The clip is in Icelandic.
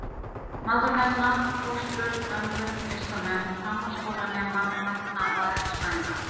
Má þar nefna: fóstrur, ömmur, listamenn, framhaldsskólanema, lækna og eðlisfræðinga.